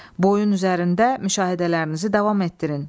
Boyun üzərində müşahidələrinizi davam etdirin.